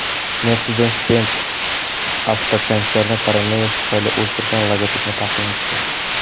Mercedes-Benz avtokonserni koronavirus tufayli o‘zgargan logotipini taqdim etdi.